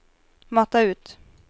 mata ut